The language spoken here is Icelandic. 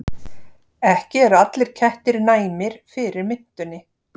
Ekki eru allir kettir næmir fyrir mintunni.